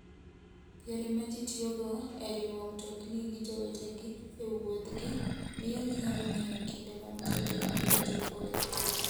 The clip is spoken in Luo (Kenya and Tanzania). Yore ma ji tiyogo e riwo mtokni gi jowetegi e wuodhgi, miyo ginyalo ng'eyo kinde ma mtokni biro chopoe.